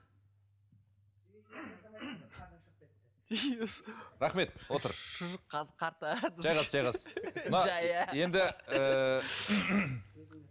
иә сол рахмет отыр рахмет отыр шұжық қазы қарта жайғас жайғас мына енді